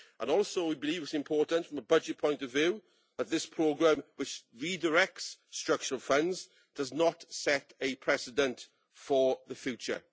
We also believe that it is important, from a budget point of view, that this programme, which redirects structural funds, does not set a precedent for the future.